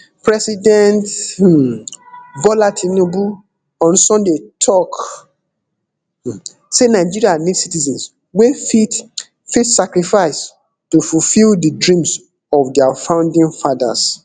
president um bola tinubu on sunday tok um say nigeria need citizens wey fit fit sacrifice to fulfil di dreams of dia founding fathers